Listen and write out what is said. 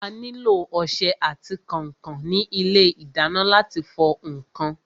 A nílò ọsẹ àti kànkàn ní ilé ìdáná láti fọ ǹkan.